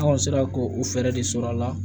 An kɔni sera k'o fɛɛrɛ de sɔrɔ a la